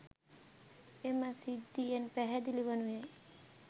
එම සිද්ධියෙන් පැහැදිලි වනුයේ